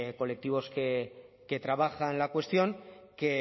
colectivos que trabajan la cuestión que